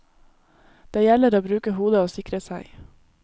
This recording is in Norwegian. Det gjelder å bruke hodet og å sikre seg.